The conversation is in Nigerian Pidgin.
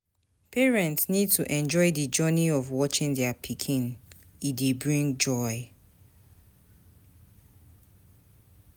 Parents need to enjoy di journey of watching their pikin, e dey bring joy